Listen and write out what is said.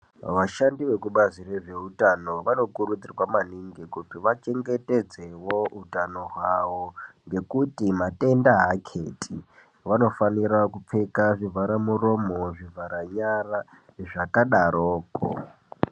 Vashandi vekubazi rezveutano vanokurudzirwa maningi kuti vachengetedzewo utano hwavo ngekuti matenda aketi vanofanira kupfeka zvivharamuromo, zvivharanyara zvakadaroko